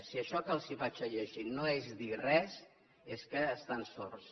si això que els llegiré no és dir res és que estan sords